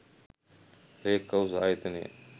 ලේක්හවුස් ආයතනය